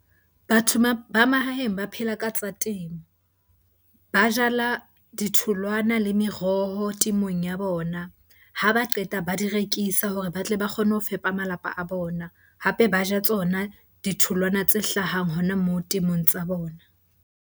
Batho ba mahaeng ba phela ka tsa temo. Ba jala ditholwana le meroho temong ya bona, ha ba qeta ba di rekisa hore ba tle ba kgone ho fepa malapa a bona. Hape ba ja tsona ditholwana tse hlahang hona moo temong tsa bona.